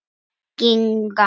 Leit verður haldið áfram í dag